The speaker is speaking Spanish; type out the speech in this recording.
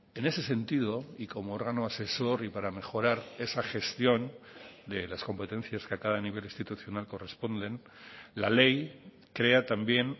en ese sentido y como órgano asesor y para mejorar esa gestión de las competencias que a cada nivel institucional corresponden la ley crea también